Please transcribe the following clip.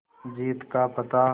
जीत का पता